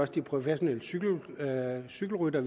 de professionelle cykelryttere cykelryttere